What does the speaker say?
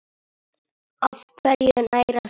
Á hverju nærast tré?